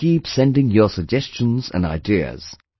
Do keep sending your suggestions and ideas